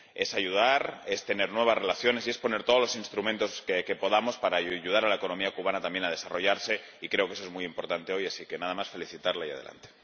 Se trata de ayudar, de tener nuevas relaciones y de poner todos los instrumentos que podamos para ayudar a la economía cubana a desarrollarse, y creo que eso es muy importante hoy, así que nada más felicitarla y ¡adelante!